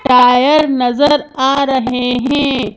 Tyre नजर आ रहे हैं।